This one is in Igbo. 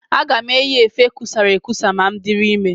Aga m eyi efe kusara ekusa ma m dịrị ime.